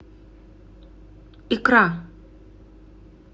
икра